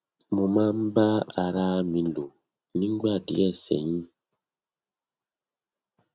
mo máa ń bá ara à mi lò nígbà díẹ sẹyìn